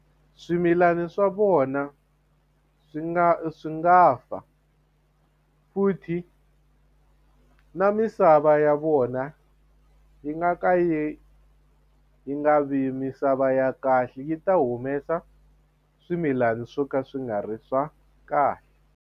Swimilani swa vona swi nga swi nga fa futhi na misava ya vona yi nga ka yi nga vi misava ya kahle yi ta humesa swimilana swo ka swi nga ri swa kahle.